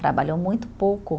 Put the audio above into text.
Trabalhou muito pouco.